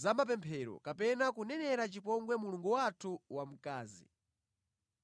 zamapemphero kapena kunenera chipongwe mulungu wathu wamkazi.